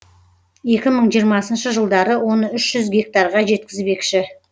екі мың жиырмасыншы жылдары оны үш жүз гектарға жеткізбекші